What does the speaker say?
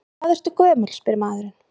Hvað ertu gömul, spyr maðurinn.